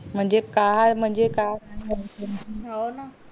म्हणजे काळ म्हणजे काळ